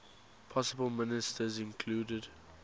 possible ministers included